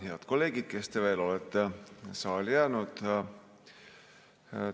Head kolleegid, kes te olete saali jäänud!